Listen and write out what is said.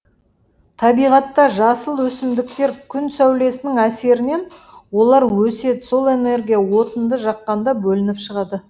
табиғатта жасыл өсімдіктер күн сәулесінің әсерінен олар өседі сол энергия отынды жаққанда бөлініп шығады